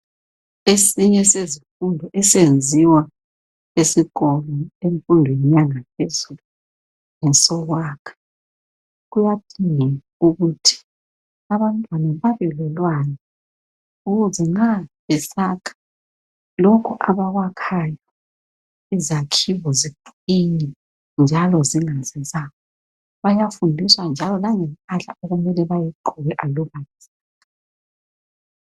Esinye sezifundo esenziwa esikolo emfundweni yangaphezulu ngesokwakha. Kuyadingeka ukuthi abantwana babe lolwazi ukuze nxa besakha lokhu abakwakhayo izakhiwo ziqine njalo zingasi, bayafundiswa njalo langempahla okumele bayigqoke.